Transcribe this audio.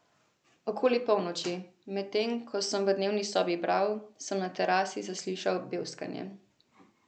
Okoli polnoči, medtem ko sem v dnevni sobi bral, sem na terasi zaslišal bevskanje.